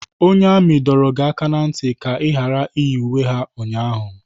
Onye amị dọrọ gị aka na ntị ka ị ghara iyi uwe ha ụnyaahụ!